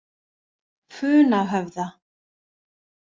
Funahöfða